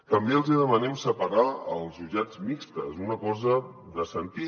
també els hi demanem separar els jutjats mixtos una cosa de sentit